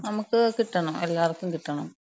നമ്ക്ക് കിട്ടണം. എല്ലാർക്കും കിട്ടണം.